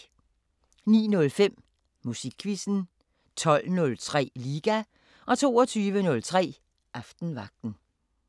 09:05: Musikquizzen 12:03: Liga 22:03: Aftenvagten